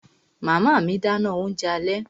Màmá mi dáná oúnjẹ alẹ́